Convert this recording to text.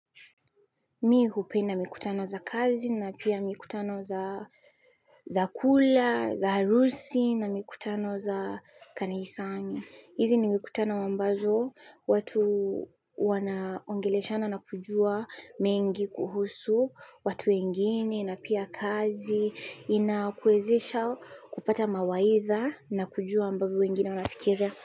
Mi hupenda mikutano za kazi na pia mikutano za kula, za harusi na mikutano za kanisani. Hizi ni mikutano ambazo watu wanaongeleshana na kujua mengi kuhusu, watu wengine na pia kazi inakuwezesha kupata mawaidha na kujua ambavyo wengine wanafikiria.